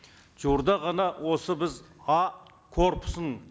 жуырда ғана осы біз а корпусын